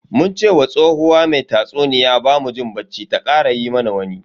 Mun ce wa tsohuwa mai tatsuniya bamu jin bacci ta kara yi mana wani.